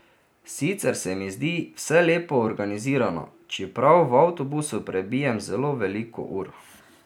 Sicer se mi zdi vse lepo organizirano, čeprav v avtobusu prebijem zelo veliko ur.